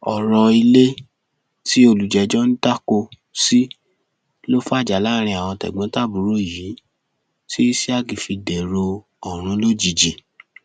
ọrọ ilé tí olùjẹjọ ń dáko sí ló fàjà láàrin àwọn tẹgbọntàbúrò yìí tí isiaq fi dèrò ọrun lójijì